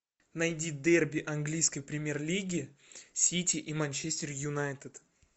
найди дерби английской премьер лиги сити и манчестер юнайтед